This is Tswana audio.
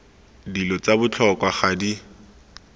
dilo tsa botlhokwa ga di